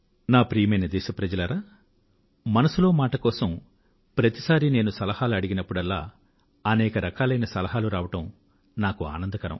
ప్రియమైన నా దేశ వాసులారా మనసులో మాట కోసం ప్రతిసారి నేను సలహాలు అడిగినప్పుడల్లా అనేక రకాలైన సలహాలు రావడం నాకు ఆనందకరం